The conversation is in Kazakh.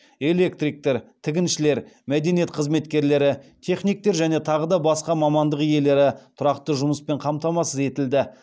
электриктер тігіншілер мәдениет қызметкерлері техниктер және тағы да басқа мамандық иелері тұрақты жұмыспен қамтамасыз етілді